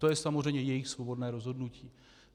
To je samozřejmě jejich svobodné rozhodnutí.